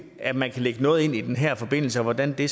at man kan lægge noget ind i den her forbindelse og hvordan det